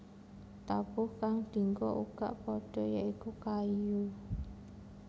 Tabuh kang dinggo uga padha ya iku kayu